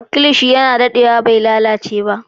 Kilishi yana daɗewa bai lalace ba.